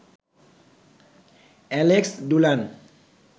Alex ডুলান